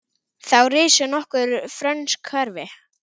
Þá risu nokkur frönsk hverfi.